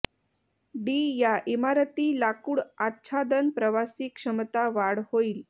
D या इमारती लाकूड आच्छादन प्रवासी क्षमता वाढ होईल